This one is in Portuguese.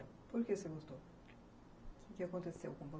Por que você gostou? O que aconteceu com você?